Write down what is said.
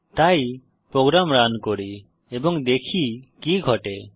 তাই program run করি এবং দেখি কি ঘটে